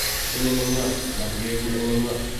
Tinye nenywa ,matigeegu eng nenywa